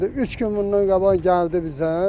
Üç gün bundan qabaq gəldi bizə, qonşuyuq da burda.